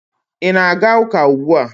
ị na-aga ụka ugbua?